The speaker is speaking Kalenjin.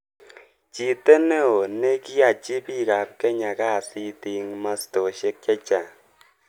"Chite neo ne kiachi pik ap Kenya kasit ing mastoshek chechang.